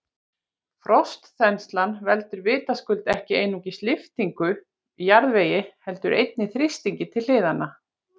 Frostþenslan veldur vitaskuld ekki einungis lyftingu í jarðvegi heldur einnig þrýstingi til hliðanna.